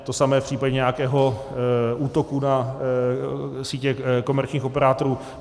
To samé v případě nějakého útoku na sítě komerčních operátorů.